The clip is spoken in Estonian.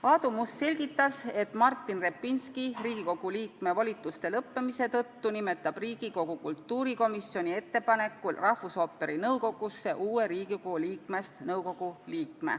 Aadu Must selgitas, et Martin Repinski Riigikogu liikme volituste lõppemise tõttu nimetab Riigikogu kultuurikomisjoni ettepanekul rahvusooperi nõukogusse uue liikme.